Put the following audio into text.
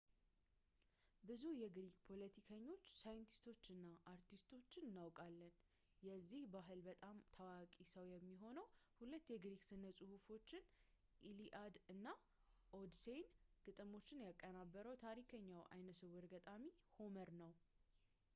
ብዙ የግሪክ ፖለቲከኞች ሳይንቲስቶች እና አርቲስቶችን እናውቃለን የዚህ ባህል በጣም ታዋቂው ሰው የሚሆነው ሁለት የግሪክ ስነ ጽሁፎችን ኢሊኣድ እና ኦድሴይ ግጥሞችን ያቀናበረው ታሪከኛው አይነስውር ገጣሚ ሆመር ነው